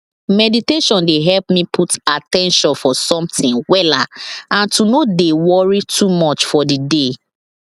mediation dey help me put at ten tion for something wella and to no dey worry too much for the day